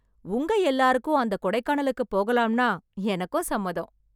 உங்க எல்லாருக்கும் அந்த கொடைக்கானலுக்குப் போகலாம்னா எனக்கும் சம்மதம்.